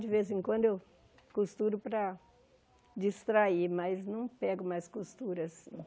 De vez em quando eu costuro para distrair, mas não pego mais costuras